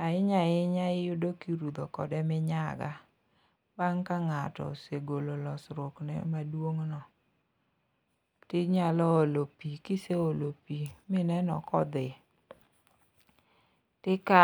ahinya ahinya iyudo kirudho kode minyaga, bang' ka ng'ato osegolo losruokne maduong' no, tinyalo olo pi, kiseolo pi mineno kodhi, tikawo